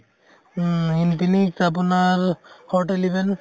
উম infinite আপোনাৰ